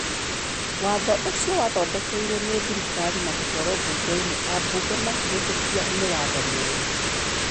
"Watho ucio wathondekiruo ni thirikari na gũtwaro bugeini, abunge amkihitũkia, ni watho mũru.